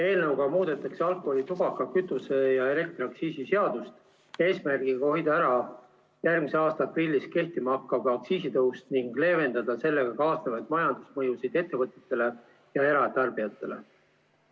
Eelnõuga muudetakse alkoholi‑, tubaka‑, kütuse‑ ja elektriaktsiisi seadust eesmärgiga hoida ära järgmise aasta aprillis kehtima hakkav aktsiisitõus ning leevendada sellega kaasnevaid majandusmõjusid ettevõtetele ja eratarbijatele.